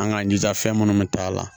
An k'an jija fɛn minnu bɛ taa a la